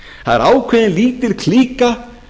það er ákveðin lítil klíka